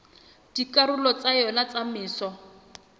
dikarolong tsa yona tsa metso